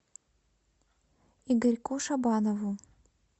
игорьку шабанову